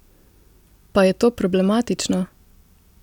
Pa je to problematično?